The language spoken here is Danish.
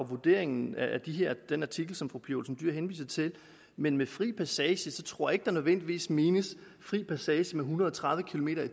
vurderingen af den artikel som fru pia olsen dyhr henviser til men med fri passage tror jeg ikke der nødvendigvis menes fri passage med en hundrede og tredive kilometer